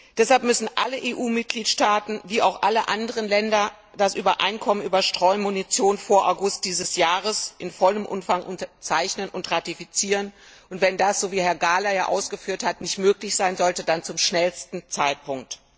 Deshalb müssen alle EU Mitgliedstaaten wie auch alle anderen Länder das Übereinkommen über Streumunition vor August dieses Jahres in vollem Umfang unterzeichnen und ratifizieren, und wenn das, so wie Herr Gahler ja ausgeführt hat, nicht möglich sein sollte, dann eben zum schnellstmöglichen Zeitpunkt.